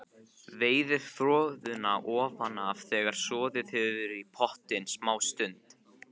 Veiðið froðuna ofan af þegar soðið hefur í pottinum smástund.